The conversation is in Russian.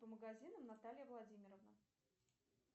по магазинам наталья владимировна